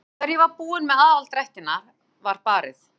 Þegar ég var búin með aðaldrættina var barið.